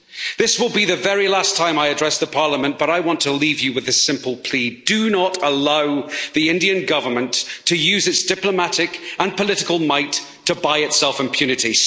This will be the very last time I address Parliament, but I want to leave you with this simple plea do not allow the Indian Government to use its diplomatic and political might to buy itself impunity.